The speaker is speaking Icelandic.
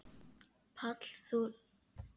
Páll: Þú lætur ekki segjast?